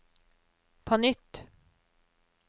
på nytt